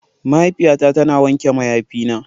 Mahaifiyata tana wanke mayafina.